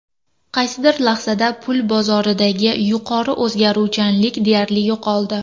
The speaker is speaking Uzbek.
Qaysidir lahzada pul bozoridagi yuqori o‘zgaruvchanlik deyarli yo‘qoldi.